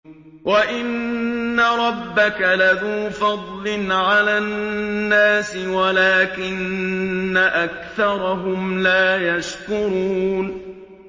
وَإِنَّ رَبَّكَ لَذُو فَضْلٍ عَلَى النَّاسِ وَلَٰكِنَّ أَكْثَرَهُمْ لَا يَشْكُرُونَ